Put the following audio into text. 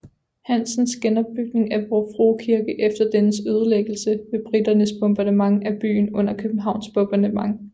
Hansens genopbygning af Vor Frue Kirke efter dennes ødelæggelse ved briternes bombardement af byen under Københavns bombardement